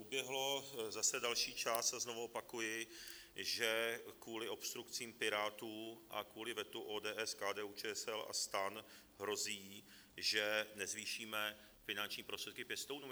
Uběhl zase další čas a znovu opakuji, že kvůli obstrukcím Pirátů a kvůli vetu ODS, KDU-ČSL a STAN hrozí, že nezvýšíme finanční prostředky pěstounům.